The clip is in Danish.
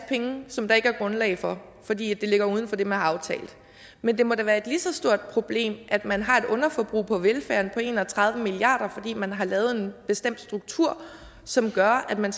penge som der ikke er grundlag for fordi det ligger uden for det man har aftalt men det må da være et lige så stort problem at man har et underforbrug på velfærden på en og tredive milliard kr fordi man har lavet en bestemt struktur som gør at man